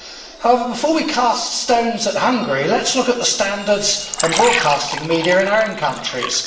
However, before we cast stones at Hungary, let us look at the standards and broadcasting media in our own countries.